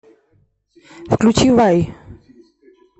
включи вай